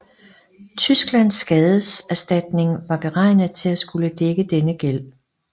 Tysklands skadeserstatning var beregnet at skulle dække denne gæld